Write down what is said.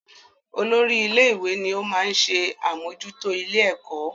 Olórí ilé-ìwé ni ó máa ń ṣe àmójútó ilé-ẹ̀kọ́